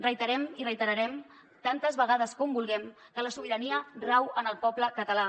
reiterem i reiterarem tantes vegades com vulguem que la sobirania rau en el poble català